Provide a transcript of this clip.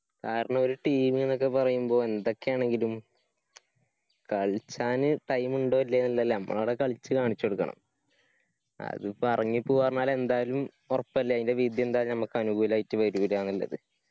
കാരണൊ ഒരു team ന്നൊക്കെ പറയുമ്പോ എന്തൊക്കെയാണെങ്കിലും കളിച്ചാന് time ഇണ്ടോ ഇല്ലയോന്നില്ലെയല്ല നമ്മൾ ആട കളിച്ച് കാണിച്ച് കൊടുക്കണം അതിപ്പോ എറങ്ങിപ്പോവാ പറഞ്ഞാൽ എന്തായാലും ഒറപ്പല്ലേ അയിന്റെ വിധി എന്തായാലും ഞമ്മക്ക് അനുകൂലായിട്ട് വേരൂല്ലന്നില്ലത്